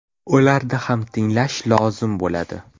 Ularni ham tinglash lozim bo‘ladi.